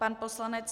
Pan poslanec